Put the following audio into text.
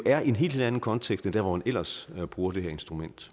er jo en helt anden kontekst end der hvor man ellers bruger det her instrument